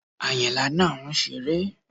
Àyìnlá náà ń ṣére